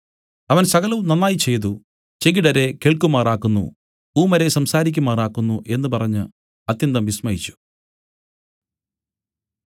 അവൻ സകലവും നന്നായി ചെയ്തു ചെകിടരെ കേൾക്കുമാറാക്കുന്നു ഊമരെ സംസാരിക്കുമാറാക്കുന്നു എന്നു പറഞ്ഞു അത്യന്തം വിസ്മയിച്ചു